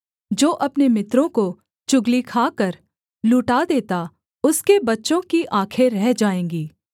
जो अपने मित्रों को चुगली खाकर लूटा देता उसके बच्चों की आँखें अंधी हो जाएँगी